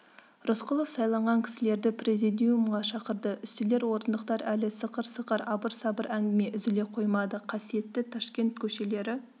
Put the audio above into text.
рысқұлов сайланған кісілерді президиумға шақырды үстелдер орындықтар әлі сықыр-сықыр абыр-сабыр әңгіме үзіле қоймады қасиетті ташкент көшелері